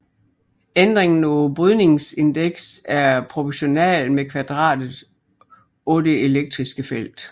Ændringen i brydningsindeks er proportionalt med kvadratet af det elektriske felt